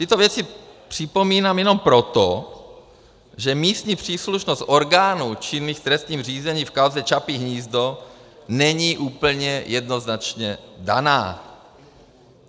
Tyto věci připomínám jenom proto, že místní příslušnost orgánů činných v trestním řízení v kauze Čapí hnízdo není úplně jednoznačně daná.